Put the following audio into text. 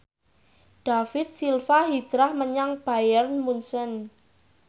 David Silva hijrah menyang Bayern Munchen